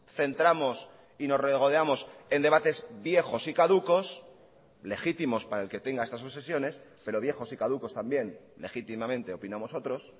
centramos y nos regodeamos en debates viejos y caducos legítimos para el que tenga estas obsesiones pero viejos y caducos también legítimamente opinamos otros